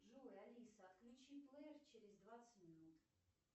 джой алиса отключи плейер через двадцать минут